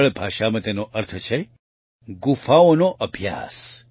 સરળ ભાષામાં તેનો અર્થ છે ગુફાઓનો અભ્યાસ